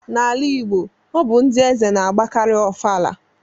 N'ala Igbo, ọ bụ ndị eze na-agbakarị ofala